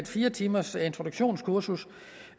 fire timers introduktionskursus